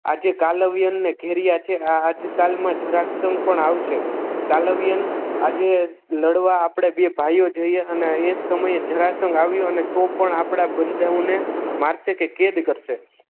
આજે કાલવ્યનને ઘેરીયા છે આજ કાલ માં જરાસંઘ પણ આવશે કાલવ્યન આજે લડવા આપણે બે ભાઈઓ જોઈએ અને એ જ સમયે જરાસંઘ આવ્યો તો પણ આપણા બંધાઓને મારશે કે કેદ કરશે